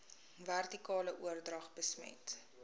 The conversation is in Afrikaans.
vertikale oordrag besmet